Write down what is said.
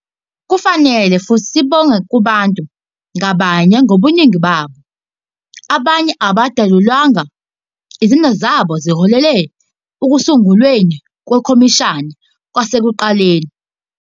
Kufanele futhi sibonge kubantu ngabanye ngobuningi babo, abanye abangadalulwanga, izenzo zabo ezaholela ekusungulweni kwekhomishana kwasekuqaleni.